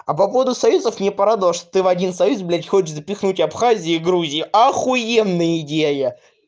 а по поводу союзов меня порадовало что ты в один союз блядь хочешь запихнуть абхазии и грузии ахуенная идея